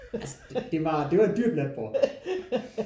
Altså det var det var et dyrt natbord